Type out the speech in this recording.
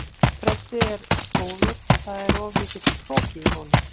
Freddi er góður en það er of mikill hroki í honum.